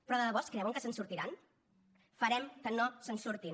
però de debò es creuen que se’n sortiran farem que no se’n surtin